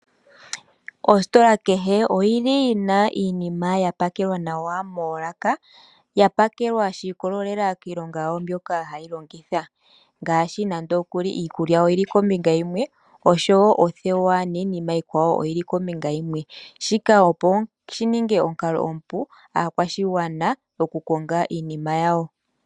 Ositola kehe oyina iinima yawo ya pakelwa nawa moolaka shiikwatelela kiilonga yawo mbyono hayi longithwa ngaashi nande iikulya oyili kombinga yimwe omanga othewa oyili kombinga yimwe. Shika oshi li omukalo omupu kaakwashigwana, opo ya vule okukonga iinima yawo.